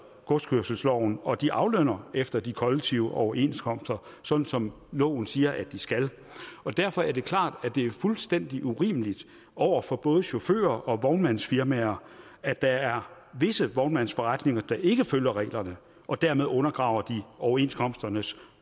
godskørselsloven og de aflønner efter de kollektive overenskomster sådan som loven siger de skal og derfor er det klart at det er fuldstændig urimeligt over for både chauffører og vognmandsfirmaer at der er visse vognmandsforretninger der ikke følger reglerne og dermed undergraver overenskomsternes